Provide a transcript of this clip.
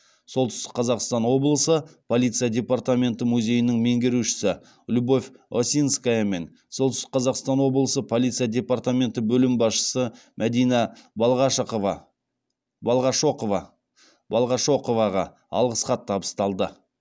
солтүстік қазақстан облысы полиция департаменті музейінің меңгерушісі любовь осинская мен солтүстік қазақстан облысы полиция департаменті бөлім басшысы мәдина балғашоқоваға алғыс хат табысталды